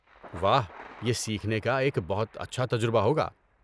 واہ! یہ سیکھنے کا ایک بہت اچھا تجربہ ہوگا۔